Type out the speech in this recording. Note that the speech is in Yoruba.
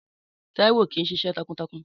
Táíwò kìí ṣiṣẹ́ takuntakun